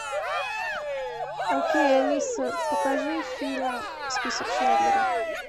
окей алиса покажи фильм список шиндлера